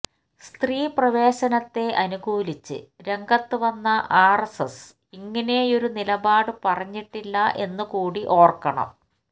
സ്ത്രീ പ്രവേശനത്തെ അനുകൂലിച്ച് രംഗത്തു വന്ന ആര്എസ്എസ് ഇങ്ങനെയൊരു നിലപാട് പറഞ്ഞിട്ടില്ല എന്നു കൂടി ഓര്ക്കണം